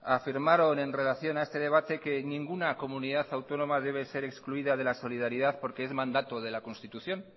afirmaron en relación a este debate que ninguna comunidad autónoma debe ser excluida de la solidaridad porque es mandato de la constitución